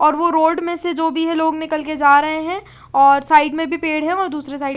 और वो रोड मे से जो भी है लोग निकल के जा रहे है और साइड मे भी पेड़ है वहाँ दूसरे साइड --